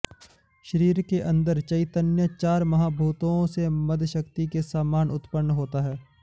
शरीर के अन्दर चैतन्य चार महाभूतों से मदशक्ति के समान उत्पन्न होता है